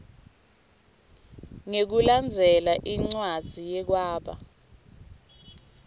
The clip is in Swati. ngekulandzela incwadzi yekwaba